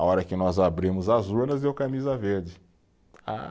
A hora que nós abrimos as urnas, deu camisa verde. Ah